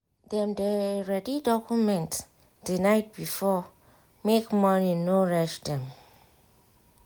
dem dey ready document the night before make morning no rush dem.